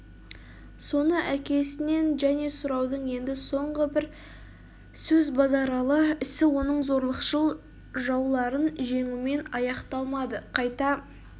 соны әкесінен және сұрады енді соңғы бір сөз базаралы ісі оның зорлықшыл жауларын жеңумен аяқталмады қайта